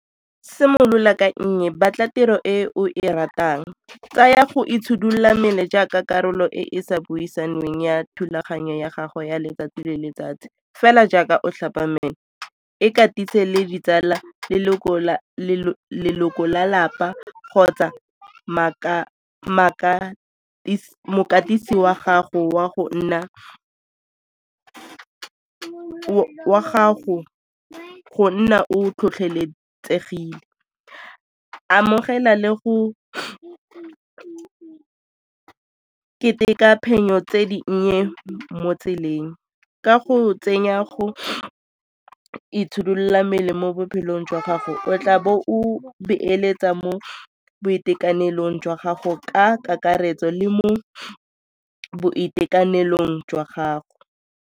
Simolola ka nnye, batla tiro e o e ratang. Tsaya go itshidila mmele jaaka karolo e e sa buisanweng ya thulaganyo ya gago ya letsatsi le letsatsi. Fela jaaka o tlhapa mmele, ikatise le ditsala, leloko la lapa kgotsa mokatisi wa gago go nna o tlhotlheletsegile. Amogela le go ke ka keteka phenyo tse dinnye mo tseleng ka go tsenya go ka itshidilola mmele mo bophelong jwa gago o tla bo o beeletsa mo boitekanelong jwa gago ka kakaretso le mo boitekanelong jwa gago.